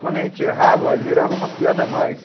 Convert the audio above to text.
Quando a gente errava, virava uma piada a mais.